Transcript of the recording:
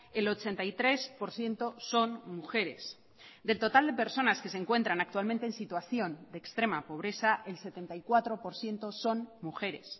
el ochenta y tres por ciento son mujeres del total de personas que se encuentran actualmente en situación de extrema pobreza el setenta y cuatro por ciento son mujeres